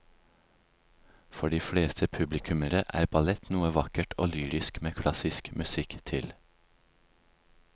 For de fleste publikummere er ballett noe vakkert og lyrisk med klassisk musikk til.